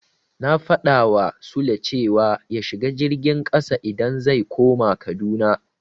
Na faɗawa Sule cewa ya shiga jirgin ƙasa idan zai koma Kaduna.